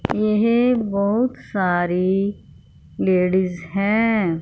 यह बहुत सारी लेडिस हैं।